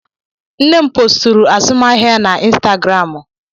Nne m posturu azụmahịa ya na Instagramụ.